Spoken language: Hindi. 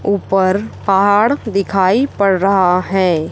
ऊपर पहाड़ दिखाई पड़ रहा है।